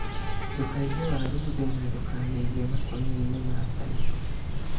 Ndũkaige waru thĩ na ndũkamĩige makoni-inĩ ma sisal.